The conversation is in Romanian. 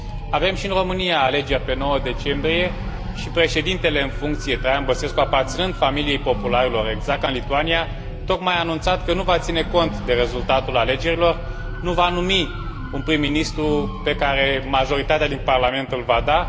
Avem și în România alegeri, pe 9 decembrie, și președintele în funcție, Traian Băsescu, aparținând familiei popularilor, exact ca în Lituania, tocmai a anunțat că nu va ține cont de rezultatul alegerilor, nu va numi un prim ministru pe care majoritatea din Parlament îl va da.